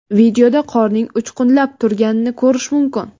Videoda qorning uchqunlab turganini ko‘rish mumkin.